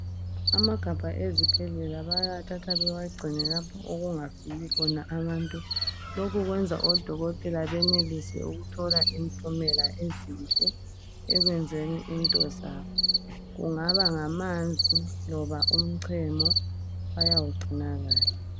Amagabha ezibhedlela bayawuthatha babagcine lapho okungafiki khona abantu lokhu kwenza odokotela benelise ukuthola impumela ezinhle ekwenzeni intozabo kungaba ngamanzi loba umchemo bayawugcina kahle.